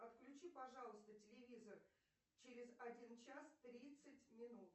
отключи пожалуйста телевизор через один час тридцать минут